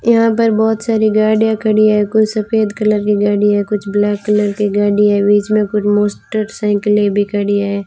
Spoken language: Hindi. यहां पर बहोत सारी गाड़ियां खड़ी है कुछ सफेद कलर की गाड़ी है कुछ ब्लैक कलर की गाड़ी है बीच मे कुछ मोस्टरसाइकिले भी खड़ी है।